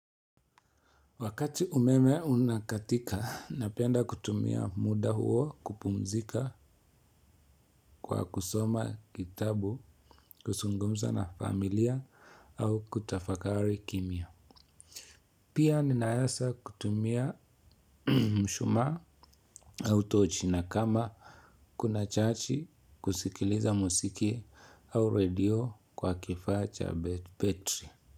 Wakati umeme unakatika, napenda kutumia muda huo kupumzika kwa kusoma kitabu kuzungumza na familia au kutafakari kimya. Pia ninaweza kutumia mshumaa au tochi na kama kuna chaji kusikiliza muziki au radio kwa kifaa cha betri.